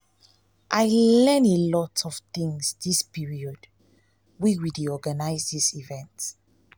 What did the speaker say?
i i learn a lot of things dis period wey we dey organize dis event